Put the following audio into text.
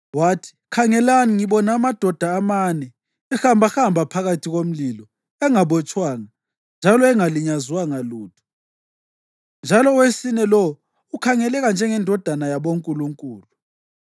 Wathi, “Khangelani! Ngibona amadoda amane ehambahamba phakathi komlilo, engabotshwanga njalo engalinyazwanga lutho, njalo owesine lowo ukhangeleka njengendodana yabonkulunkulu.”